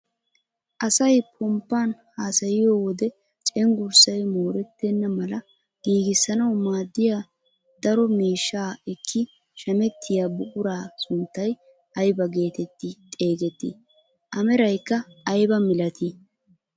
Asay ponppaan hasayiyoo wode cenggurssay moorettena mala giigissanwu maaddiyaa daro miishshaa ekki shamettiyaa buquraa sunttay aybaa getetti xeegettii? a meraykka aybaa milatii?